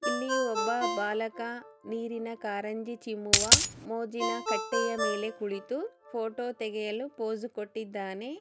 ಇಲ್ಲಿ ಒಬ್ಬ ಬಾಲಕ ನೀರಿನ ಕಾರಂಜಿ ಚಿಮ್ಮುವ ಮೋಜಿನಾ ಕಟ್ಟೆಯ ಮೇಲೆ ಕುಳಿತು ಫೋಟೋ ತೆಗೆಯಲು ಪೋಸ್ ಕೊಟ್ಟಿದ್ದಾನೆ.